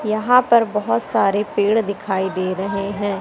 यहां पर बहुत सारे पेड़ दिखाई दे रहे हैं।